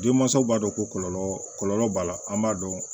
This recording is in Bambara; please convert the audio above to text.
Denmansaw b'a dɔn ko kɔlɔlɔ kɔlɔlɔ b'a la an b'a dɔn